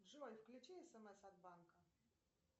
джой включи смс от банка